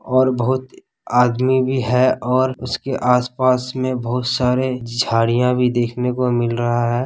और बहुत अ-आदमी भी है और उसके आसपास मे बहुत सारे झाड़िया भी देखने को मिल रहा है।